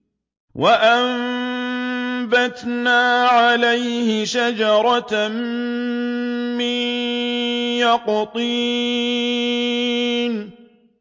وَأَنبَتْنَا عَلَيْهِ شَجَرَةً مِّن يَقْطِينٍ